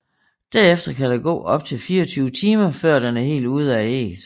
Derefter kan der gå op til 24 timer før den er helt ude af ægget